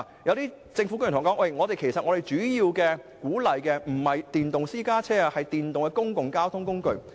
有政府官員對我說，其實政府主要鼓勵的不是電動私家車，而是電動公共交通工具。